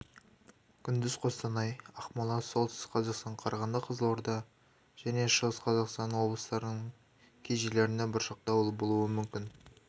күндіз қостанай ақмола солтүстік қазақстан қарағанды қызылорда және шығыс-қазақстан облыстарының кей жерлерінде бұршақ дауыл болуы мүмкін